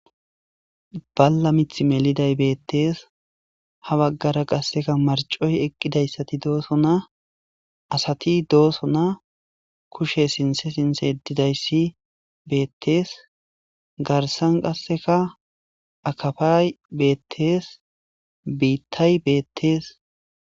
balla mith meliday beettees ha baggara qasseka marcoy eqqidayssati dooso na asati dooso na kushe sinse sinse edidayssi beettees garsan qasseka akafay beettees biittay beettees